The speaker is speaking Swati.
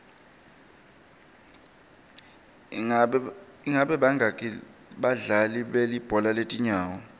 ingabe bangaki badlali belibhola letinyawo